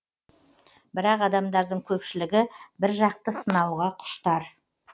бірақ адамдардың көпшілігі біржақты сынауға құштар